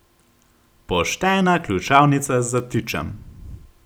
Poštena ključavnica z zatičem!